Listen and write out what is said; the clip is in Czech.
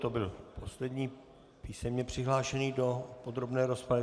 To byl poslední písemně přihlášený do podrobné rozpravy.